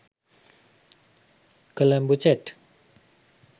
colombo chat